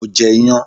Mo je iyan